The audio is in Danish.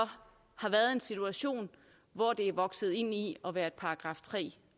har været i en situation hvor det er vokset ind i at være et § tre